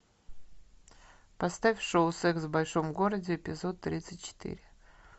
поставь шоу секс в большом городе эпизод тридцать четыре